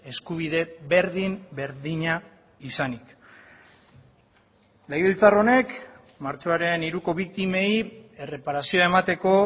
eskubide berdin berdina izanik legebiltzar honek martxoaren hiruko biktimei erreparazioa emateko